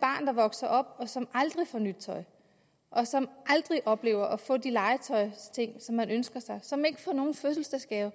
barn der vokser op og som aldrig får nyt tøj og som aldrig oplever at få de legetøjsting som man ønsker sig og som ikke får nogen fødselsdagsgave